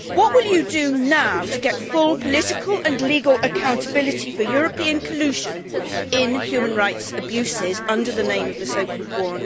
What will you do now to get full political and legal accountability for European collusion in human rights abuses in the name of the so called war on terror?